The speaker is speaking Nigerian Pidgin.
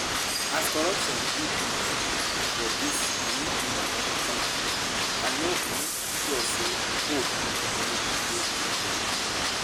As corruption deep reach for dis um country, I no um sure sey hope um dey again.